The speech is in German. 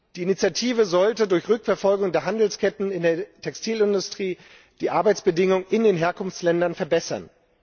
Die Initiative sollte durch Rückverfolgung der Handelsketten in der Textilindustrie die Arbeitsbedingungen in den Herkunftsländern verbessern.